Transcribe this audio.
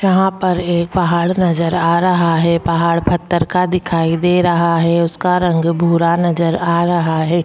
यहां पर एक पहाड़ नजर आ रहा हैं पहाड़ पत्थर का दिखाई दे रहा हैं उसका रंग भुरा नजर आ रहा हैं।